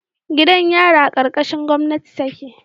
Gidan yari a karkashin gomnati take